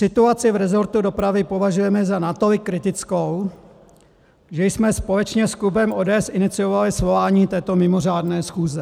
Situaci v rezortu dopravy považujeme za natolik kritickou, že jsme společně s klubem ODS iniciovali svolání této mimořádné schůze.